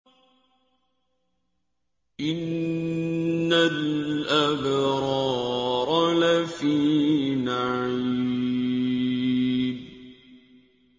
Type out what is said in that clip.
إِنَّ الْأَبْرَارَ لَفِي نَعِيمٍ